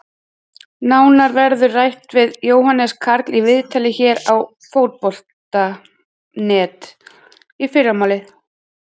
Nánar verður rætt við Jóhannes Karl í viðtali hér á Fótbolta.net í fyrramálið.